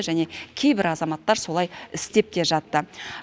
және кейбір азаматтар солай істеп те жатты